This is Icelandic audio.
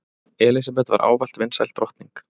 Elísabet var ávallt vinsæl drottning.